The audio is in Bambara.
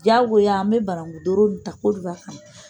Jagoya an bɛ banankun doro ta ko ɲan.